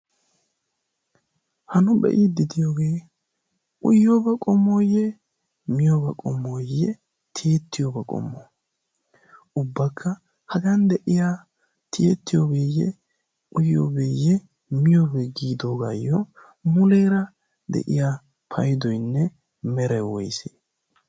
ha nu be'iidi diyoogee uyyooba qomooyye miyooba qomooyye tiyettiyooba qomo ubbakka hagan de'iya tiyettiyoobeeyye uyyoobeeyye miyoobee giidoogaayyo muleera de'iya paydoynne mere woys